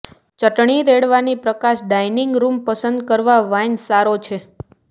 ચટણી રેડવાની પ્રકાશ dining room પસંદ કરવા વાઇન સારો છે